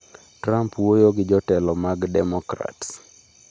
Trump wuoyo gi jotelo mag democrats